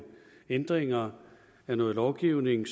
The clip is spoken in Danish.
ændringer af noget lovgivning